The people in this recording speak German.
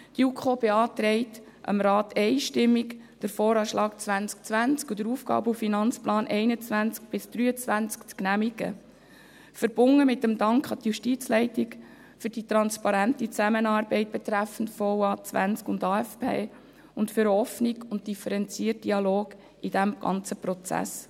Die JuKo beantragt dem Rat einstimmig, den VA 2020 und den AFP 2021–2023 zu genehmigen, verbunden mit dem Dank an die Justizleitung für die transparente Zusammenarbeit betreffend VA und AFP sowie für den offenen und differenzierten Dialog in diesem ganzen Prozess.